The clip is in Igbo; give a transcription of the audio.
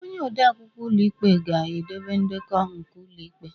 Onye odeakwụkwọ ụlọ ikpe ga-edobe ndekọ nke ụlọ ikpe